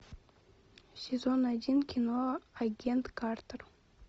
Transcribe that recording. сезон один кино агент картер